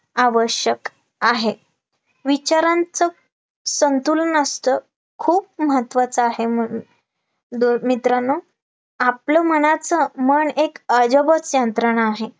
आवश्यक आहे, विचारांचं संतुलन असतं, खूप महत्वाचं आहे, म्हणून डो मित्रांनो आपलं मनाचं मन एक अजबच यंत्रण आहे